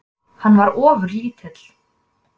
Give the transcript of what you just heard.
Hann var ofurlítill.